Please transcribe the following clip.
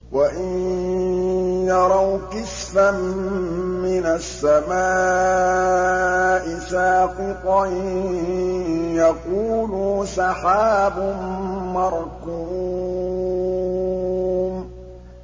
وَإِن يَرَوْا كِسْفًا مِّنَ السَّمَاءِ سَاقِطًا يَقُولُوا سَحَابٌ مَّرْكُومٌ